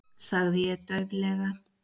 sagði ég dauflega.